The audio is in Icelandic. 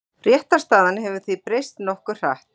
Réttarstaðan hefur því breyst nokkuð hratt.